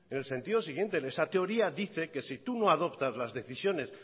en el sentido siguiente esa teoría dice que si tú no adoptas las decisiones